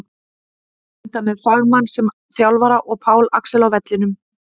Enda með fagmann sem þjálfara og Pál Axel á vellinum!